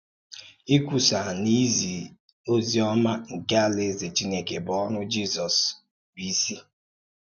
Ìkwùsà na ị́zì òzì-ọ̀má nke Alàèzè Chìnèkè bụ́ òrụ́ Jisọs bụ́ ìsì.